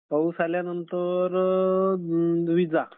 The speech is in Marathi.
पाऊस आल्यानंतर वीजा